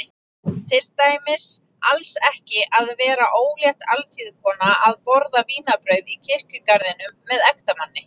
Til dæmis alls ekki að vera ólétt alþýðukona að borða vínarbrauð í kirkjugarðinum með ektamanni.